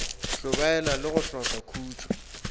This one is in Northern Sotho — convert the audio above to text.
hlobaela le go hloka khutšo